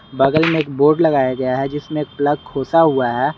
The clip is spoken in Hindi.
बगल में एक बोर्ड लगाया गया है जिसमें एक प्लग खोसा हुआ है।